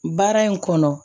Baara in kɔnɔ